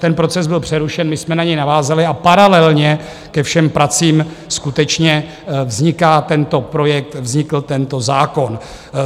Ten proces byl přerušen, my jsme na něj navázali a paralelně ke všem pracím skutečně vzniká tento projekt, vznikl tento zákon.